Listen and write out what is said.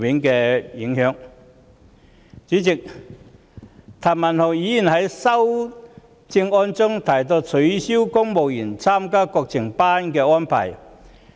代理主席，譚文豪議員在修正案中建議取消公務員參加國情研習班的安排。